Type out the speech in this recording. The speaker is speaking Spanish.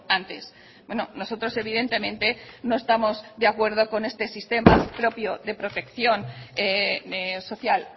antes nosotros evidentemente no estamos de acuerdo con este sistema propio de protección social